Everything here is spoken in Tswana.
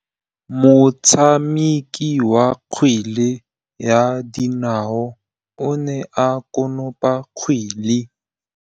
Motshameki wa kgwele ya dinaô o ne a konopa kgwele.